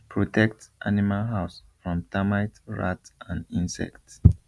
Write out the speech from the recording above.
protect animal house from termite rat and insect